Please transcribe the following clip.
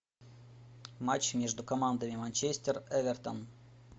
матч между командами манчестер эвертон